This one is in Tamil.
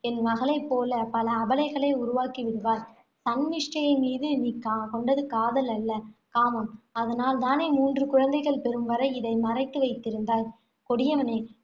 என் மகளை போல பல அபலைகளை உருவாக்கி விடுவாய். சன்மிஷ்டை மீது நீ கொண்டது காதல் அல்ல காமம். அதனால் தானே மூன்று குழந்தைகள் பெறும் வரை இதை மறைத்து வைத்திருந்தாய் கொடியவனே